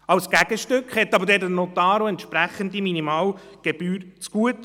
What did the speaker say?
Als Gegenstück hat der Notar aber dann auch eine entsprechende Minimalgebühr zugute;